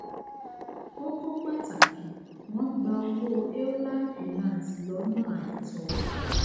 kókó pàtàkì wọn gbà owó cs] euler finance lọnà àìtọ